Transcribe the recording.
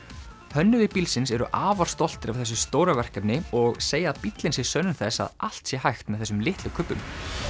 hönnuðir bílsins eru afar stoltir af þessu stóra verkefni og segja að bíllinn sé sönnun þess að allt sé hægt með þessum litlu kubbum